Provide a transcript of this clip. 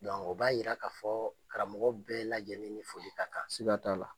o b'a jira k'a fɔ karamɔgɔ bɛɛ lajɛlen ni foli ka kan, siga t'a la